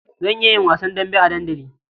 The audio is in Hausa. Zan iya yin wasan dambe a dandali.